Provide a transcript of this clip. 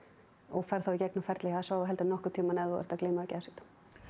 og ferð í gegnum ferli hjá s á á heldur en nokkurn tímann ef þú ert að glíma við geðsjúkdóm